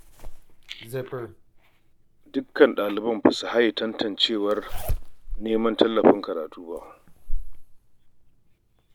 Dukka ɗaliban ba su haye tantancewar neman tallafin karatu ba